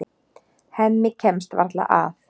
Hemmi kemst varla að.